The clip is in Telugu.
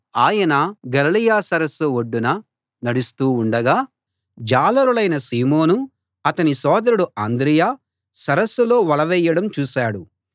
ఆయన గలిలయ సరస్సు ఒడ్డున నడుస్తూ ఉండగా జాలరులైన సీమోను అతని సోదరుడు అంద్రెయ సరస్సులో వలవేయడం చూశాడు